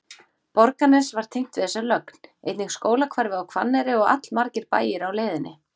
Borgarnes var tengt við þessa lögn, einnig skólahverfið á Hvanneyri og allmargir bæir á leiðinni.